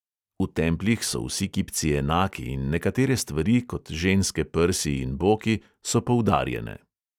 V templjih so vsi kipci enaki in nekatere stvari, kot ženske prsi in boki, so poudarjene.